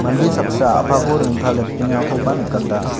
mande saksa a·pako rongtaletengakoba nikata.